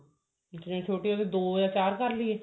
ਜਿਤਨੀ ਛੋਟੀ ਹੋ ਦੋ ਆ ਚਾਰ ਕਰ ਲਈਏ